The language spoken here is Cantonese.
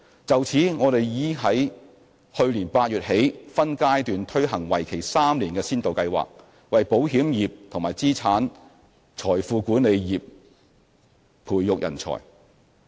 就此，我們已於去年8月起分階段推行為期3年的先導計劃，為保險業及資產財富管理業培訓人才。